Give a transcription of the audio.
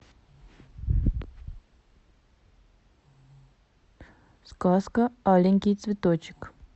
сказка аленький цветочек